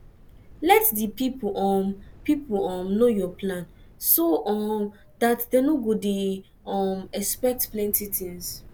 let di pipo um pipo um know your plan so um dat dem no go dey um expect plenty things